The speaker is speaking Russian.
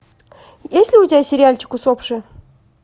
есть ли у тебя сериальчик усопшие